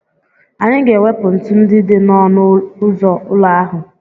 Anyị ga-ewepụ ntu ndị dị n'ọnụ ụzọ ụlọ ahụ.